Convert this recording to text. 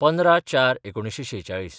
१५/०४/१९४६